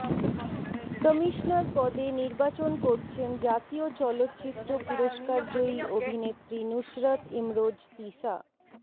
commissioner পদে নির্বাচন করছেন জাতীয় চলচ্চিত্র পুরস্কারজয়ী অভিনেত্রী নুসরাত ইমরোজ তিশা